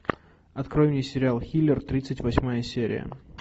открой мне сериал хилер тридцать восьмая серия